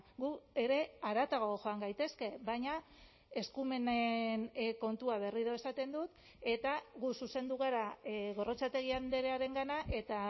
gu ere haratago joan gaitezke baina eskumenen kontua berriro esaten dut eta gu zuzendu gara gorrotxategi andrearengana eta